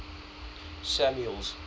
samuel's